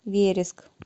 вереск